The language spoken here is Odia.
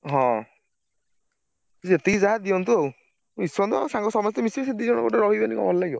ହଁ ଯେତିକି ଯାହା ଦିଅନ୍ତୁ ଆଉ ମିଶନ୍ତୁ ଆମ ସାଙ୍ଗ ସମସ୍ତେ ମିଶିବେ ସେ ଦି ଜଣ ଗୋଟେ ରହିଗଲେ କଣ ଭଲ ଲାଗିବ?